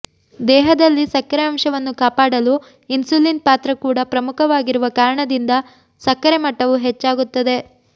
ದೇಹದಲ್ಲಿ ಸಕ್ಕರೆ ಅಂಶವನ್ನು ಕಾಪಾಡಲು ಇನ್ಸುಲಿನ್ ಪಾತ್ರ ಕೂಡ ಪ್ರಮುಖವಾಗಿರುವ ಕಾರಣದಿಂದ ಸಕ್ಕರೆ ಮಟ್ಟವು ಹೆಚ್ಚಾಗುತ್ತದೆ